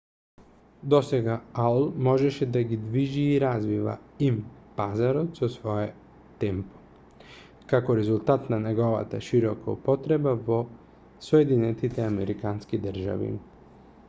досега аол можеше да го движи и развива им-пазарот со свое темпо како резултат на неговата широка употреба во соединетите американски држави